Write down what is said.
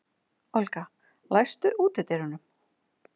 Olga, læstu útidyrunum.